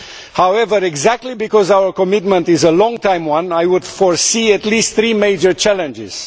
However, precisely because our commitment is a long term one, I would foresee at least three major challenges.